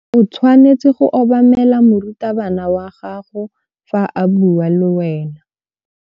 O tshwanetse go obamela morutabana wa gago fa a bua le wena.